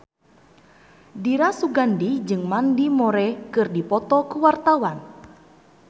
Dira Sugandi jeung Mandy Moore keur dipoto ku wartawan